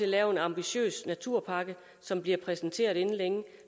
lave en ambitiøs naturpakke som bliver præsenteret inden længe